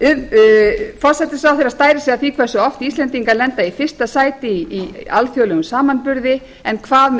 forsætisráðherra stærir sig af því hversu oft íslendingar lenda í fyrsta sæti í alþjóðlegum samanburði en hvað með